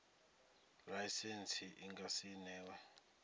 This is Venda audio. laisentsi i nga si newe